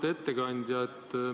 Auväärt ettekandja!